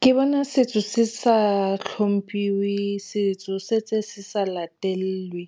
Ke bona setso se sa hlomphiwe, setso se ntse se sa latellwe